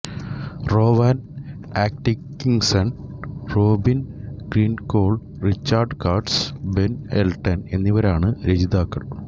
റോവാൻ Atkinson Robin Driscoll Richard Curtis Ben Elton എന്നിവരാണ് രചയിതാക്കൾ